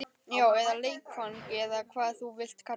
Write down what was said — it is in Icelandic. Já, eða leikfang eða hvað þú vilt kalla það.